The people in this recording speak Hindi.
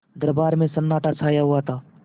दरबार में सन्नाटा छाया हुआ था